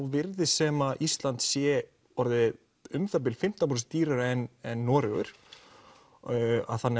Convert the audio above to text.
virðist sem Ísland sé orðið um það bil fimmtán prósent dýrari en Noregur þannig